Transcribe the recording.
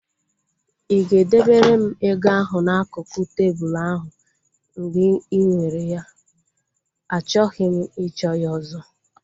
Ị ga e debere m ego ahu n'akụkụ tebụlu ahu mgbe ị nwere ya? Achọghị m ịchọ ya ọzọ